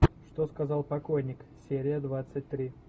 что сказал покойник серия двадцать три